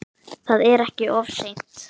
Það er ekkert of seint.